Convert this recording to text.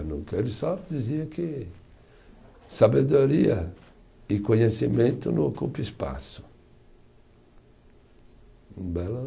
Nunca, ele só dizia que sabedoria e conhecimento não ocupa espaço.